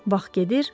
Vaxt gedir,